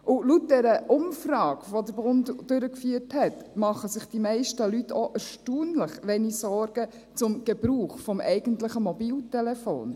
Und laut der Umfrage, die der Bund durchgeführt hat, machen sich die meisten Leute auch erstaunlich wenige Sorgen zum Gebrauch des eigentlichen Mobiltelefons.